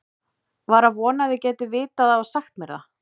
var að vona þið gætuð vitað það og sagt mér það